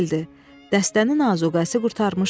Dəstənin azuqəsi qurtarmışdı.